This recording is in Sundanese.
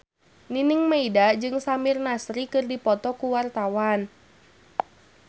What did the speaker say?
Nining Meida jeung Samir Nasri keur dipoto ku wartawan